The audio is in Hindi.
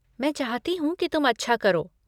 मैं चाहती हूँ कि तुम अच्छा करो।